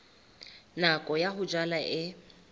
nako ya ho jala e